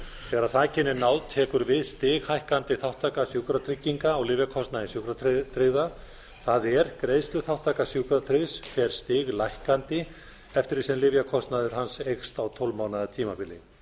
þegar þakinu er náð tekur við stighækkandi þátttaka sjúkratrygginga á lyfjakostnaði sjúkratryggðra það er greiðsluþátttaka sjúkratryggðs fer stiglækkandi eftir því sem lyfjakostnaður hans eykst á tólf mánaða tímabili